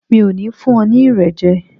Mi ò ní fún ọ ní Irẹ̀ jẹ.